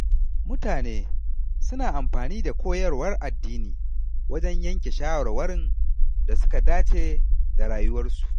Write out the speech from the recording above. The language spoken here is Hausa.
Mutane suna amfani da koyarwar addini wajen yanke shawarwarin da suka dace da rayuwarsu.